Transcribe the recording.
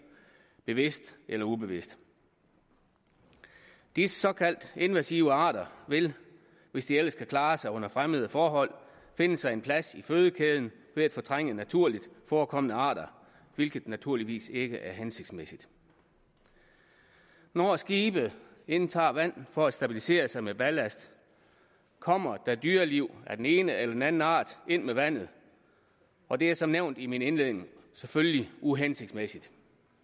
bevidst eller ubevidst disse såkaldte invasive arter vil hvis de ellers kan klare sig under fremmede forhold finde sig en plads i fødekæden ved at fortrænge naturligt forekommende arter hvilket naturligvis ikke er hensigtsmæssigt når skibe indtager vand for at stabilisere sig med ballast kommer der dyreliv af den ene eller den anden art ind med vandet og det er som nævnt i min indledning selvfølgelig uhensigtsmæssigt